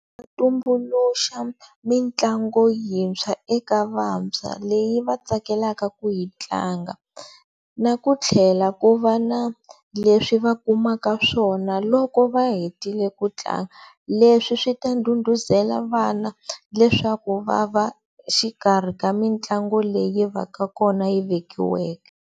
Tumbuluxa mitlangu yintshwa eka vantshwa leyi va tsakelaka ku yi tlanga na ku tlhela ku va na leswi va kumaka swona loko va hetile ku tlanga leswi swi ta ndhudhuzela vana leswaku va va xikarhi ka mitlangu leyi yi va ka kona yi vekiweke.